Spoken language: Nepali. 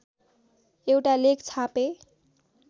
एउटा लेख छापे